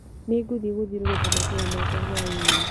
Nĩngũthĩ gũthiũrũruka matũra makwa hwainĩ.